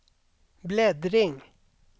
bläddring